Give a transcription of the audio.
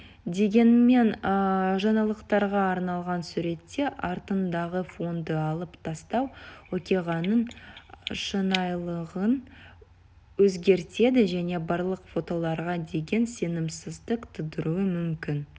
дегенмен жаңалықтарға арналған суретте артындағы фонды алып тастау оқиғаның шынайылығын өзгертеді және барлық фотоларға деген сенімсіздік тудыруы мүмкін